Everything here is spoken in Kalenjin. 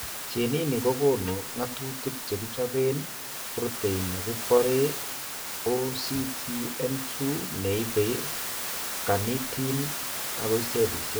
Geneni kokoonu ng'atutik chekichobeen protein nekibore OCTN2 neibe carnitine akoi cellisiek